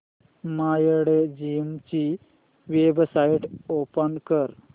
Mindgym ची website open कर